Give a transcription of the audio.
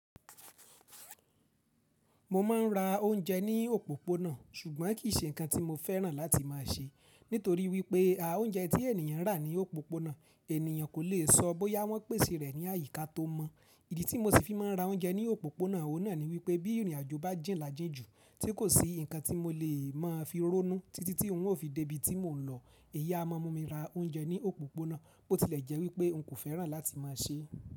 Mo ma ń ra ounje ní òpópónà ṣùgbọ́n kì í ṣe nǹkan tí mo fẹ́ràn láti máa ṣe. Nítorí wípé́ à ounje tí ènìyàn rà ní òpópónà ènìyàn kò le sọ bóyá wọ́n pèsè rẹ̀ ní àyíká tó mọ. Ìdí tí mo ṣì fi máa ń ra ounje ní òpópónà òun náà ni wípé́ bí ìrìn àjò bá jìn lajínjù tí kò sí nǹkan tí mo lè máa fi ronú títí tí òun ó fi dé ibi tí mò ń lọ, èyí à mumi ra ounje ní òpópónà, bó ti lẹ̀ jẹ́ wípé́ nkò fẹ́ràn láti máa ṣe.